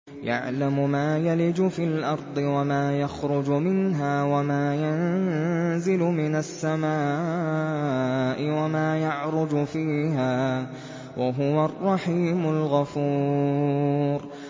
يَعْلَمُ مَا يَلِجُ فِي الْأَرْضِ وَمَا يَخْرُجُ مِنْهَا وَمَا يَنزِلُ مِنَ السَّمَاءِ وَمَا يَعْرُجُ فِيهَا ۚ وَهُوَ الرَّحِيمُ الْغَفُورُ